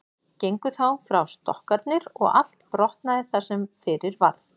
Gengu þá frá stokkarnir og allt brotnaði það sem fyrir varð.